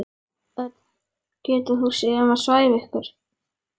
Örn getur séð um að svæfa ykkur.